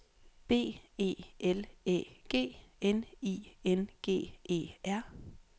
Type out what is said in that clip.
B E L Æ G N I N G E R